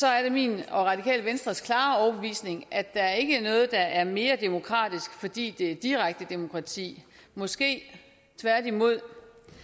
er min og radikale venstres klare overbevisning at der ikke er noget der er mere demokratisk fordi det er direkte demokrati måske tværtimod